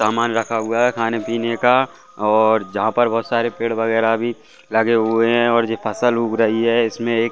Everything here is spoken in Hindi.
सामान रखा हुआ है खाने-पीने और जहां पर बहोत सारे पेड़ वगैरा भी लगे हुए हैं यह फसल उग रही है इसमें--